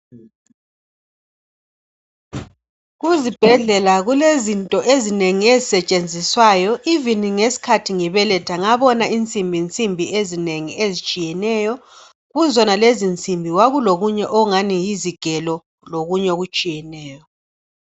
Kuzibhedlela kulezinto ezinengi ezisetshenziswayo even ngesikhathi ngibeletha ngabona insimbinsimbi ezinengi ezitshiyeneyo kuzona lezo nsimbi kwakulokunye okungani yizigelo lokunye okutshiyeneyo.